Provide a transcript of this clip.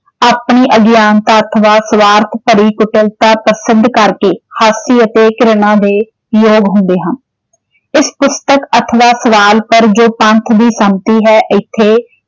ਆਪਣੀ ਅਗਿਆਨਤਾ ਅਥਵਾ ਸਵਾਰਥ ਭਰੀ ਕੁਸ਼ਲਤਾ ਪ੍ਰਸਿੱਧ ਕਰਕੇ ਹਾਸੀ ਅਤੇ ਘਿਰਨਾ ਦੇ ਯੋਗ ਹੁੰਦੇ ਹਾਂ। ਇਸ ਪੁਸਤਕ ਅਥਵਾ ਸਵਾਲ ਪਰ ਜੋ ਪੰਥ ਦੀ ਸੰਮਤੀ ਹੈ ਏਥੇ